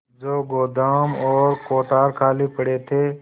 जो गोदाम और कोठार खाली पड़े थे